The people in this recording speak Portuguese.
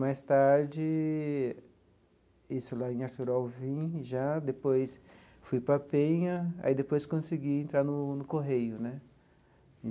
Mais tarde, isso lá em Artur Alvim já, depois fui para Penha e aí depois consegui entrar no no Correio né.